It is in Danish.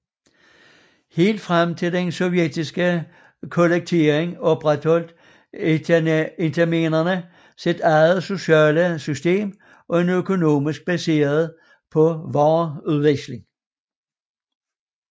Helt frem til den sovjetiske kollektivisering opretholdt itelmenerne et eget socialt system og en økonomi baseret på vareudveksling